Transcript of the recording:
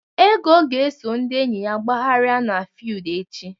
Ego ga-eso ndị enyi ya gbagharịa n'fiudu echi.